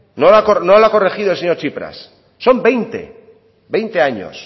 no lo ha corregido el señor tsipras son veinte años